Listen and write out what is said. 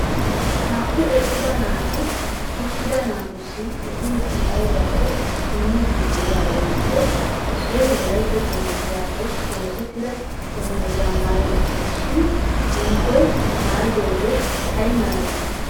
Naa"u eqqida naati uttida naatussi ehiidi aybbakko immiidi de'iyaagetuppe issioy wolayta dungguzappe osettida dungguzza maayi uttiis, shin hinkkoy maayidooge ay malatii?